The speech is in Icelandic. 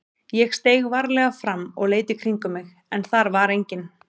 Ég steig varlega fram og leit í kringum mig en þar var enginn.